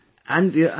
Absolutely